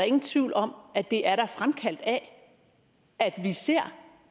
ingen tvivl om at det er er fremkaldt af at vi ser